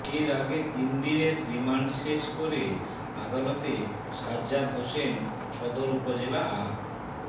এর আগে তিন দিনের রিমান্ড শেষ করে আদালতে সাজ্জাদ হোসেন সদর উপজেলা আ